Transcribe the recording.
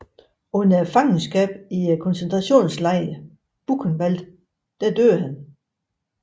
Under fangenskabet i koncentrationslejren Buchenwald døde han